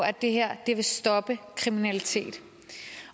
at det her vil stoppe kriminalitet